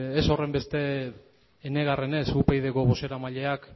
ez horrenbeste enegarrenez upydko bozeramaileak